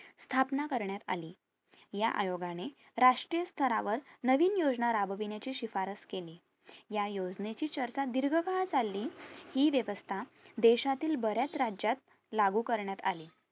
स्थापना करण्यात आली या आयोगाने राष्ट्रीय स्थरावर नवीन योजना राबवण्याची शिफारस केली या योजनेची चर्चा दीर्घ काळ चालली हि वेवस्था देशातील बऱ्याच राज्यात लागू करण्यात आली